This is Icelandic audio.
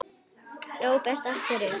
Róbert: Af hverju?